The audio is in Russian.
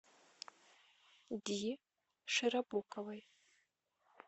ди широбоковой